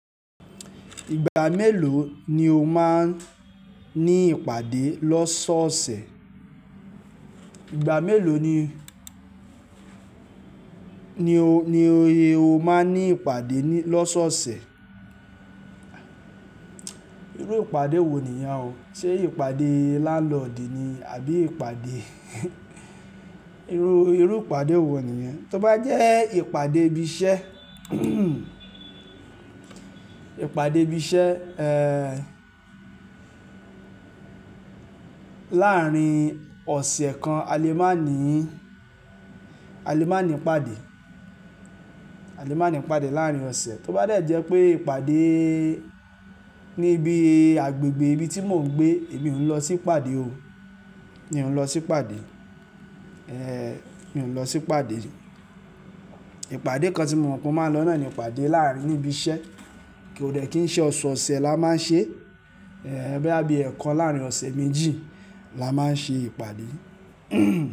Ìgbà mélòó ni o máa ń ní ìpàdé lọ́sọ̀ọ̀sẹ̀? Ìgbà mélòó ni, ni o, ni o máa ń ní ìpàdé ní, lọ́sọ̀ọ̀sẹ̀? Irú ìpàdé wo nìyẹn o? Ṣé ìpàdé lálọ̀ndí ni àbí ìpàdé irú, irú ìpàdé wo nìyẹn? Tí ó bá jẹ́ ìpàdé ibi iṣẹ́, ìpàdé ibi iṣẹ́, ẹẹ́, láàárín ọ̀sẹ̀ kan, a lè má ní, a lè má ní ìpàdé. A lè má ní pàdé láàárín ọ̀sẹ̀. Tí ó bá jẹ́ pé ìpàdé níbi agbègbè ibi tí mò ń gbé, èmi ò ń lọ sí ìpàdé o. Mi ò ń lọ sí ìpàdé. Ẹ, mi ò ń lọ sí ìpàdé. Ìpàdé kan tí mo mọ̀ pé mo máa lọ náà ni ìpàdé láàárín ibi iṣẹ́. Kò dẹ́ kí i ṣe ọ̀sọ̀ọ̀sẹ̀ la máa ń ṣe, ẹ, bóyá bí ẹ́ kan láàárín ọ̀sẹ̀ méjì la máa ń ṣe ìpàdé.